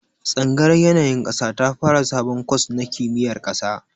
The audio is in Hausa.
Tsangayar yanayin ƙasa ta fara sabon kwas na kimiyar ƙasa